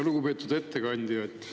Lugupeetud ettekandja!